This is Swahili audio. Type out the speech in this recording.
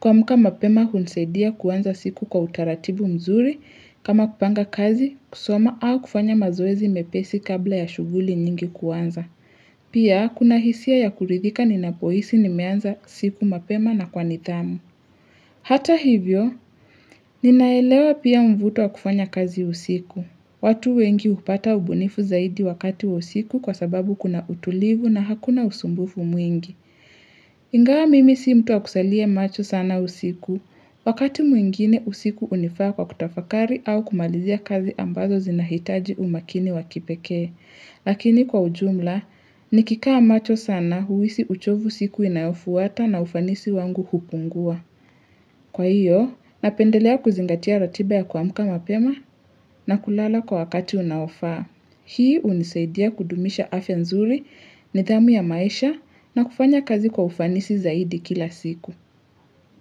Kuamka mapema hunisaidia kuanza siku kwa utaratibu mzuri kama kupanga kazi kusoma au kufanya mazoezi mepesi kabla ya shuguli nyingi kuanza. Pia kuna hisia ya kuridhika ni napohisi nimeanza siku mapema na kwa nitdhamu. Hata hivyo, ninaelewa pia mvuto wa kufanya kazi usiku. Watu wengi hupata ubunifu zaidi wakati usiku kwa sababu kuna utulivu na hakuna usumbufu mwingi. Ingawa mimi si mtu wa kusalia macho sana usiku. Wakati mwingine usiku hunifaa kwa kutafakari au kumalizia kazi ambazo zinahitaji umakini wa kipekee. Lakini kwa ujumla, nikikaa macho sana huhisi uchovu siku inayofuata na ufanisi wangu hupungua. Kwa hiyo, napendelea kuzingatia ratiba ya kuamka mapema na kulala kwa wakati unaofaa. Hii hunisaidia kudumisha afya nzuri, nidhamu ya maisha na kufanya kazi kwa ufanisi zaidi kila siku.